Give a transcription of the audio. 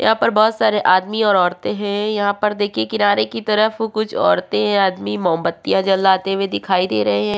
यहाँ पर बहुत सारे आदमी और औरते है यहाँ पर देखिये किनारे की तरफ कुछ औरतें आदमी मोमबत्तियां जलाते हुए दिखाई दे रहे है।